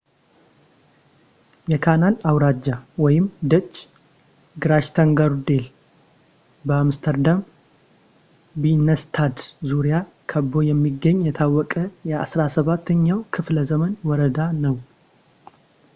የካናል አውራጃ ደች ግራችተንጎርዴል በአምስተርዳም ቢንነንስታድ ዙሪያ ከቦ የሚገኝ የታወቀ የ 17ኛው ክፍለዘመን ወረዳ ነው